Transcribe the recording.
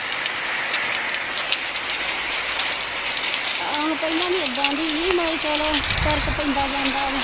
ਆਹੋ ਪਹਿਲਾਂ ਵੀ ਏਦਾਂ ਦੀ ਸੀ ਮਤਲਬ ਚਲੋ ਫ਼ਰਕ ਪੈਂਦਾ ਜਾਂਦਾ ਵਾ।